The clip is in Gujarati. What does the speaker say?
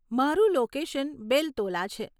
મારુ લોકેશન બેલ્તોલા છે.